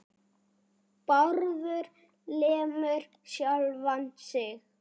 Bárður lemur sjálfan sig.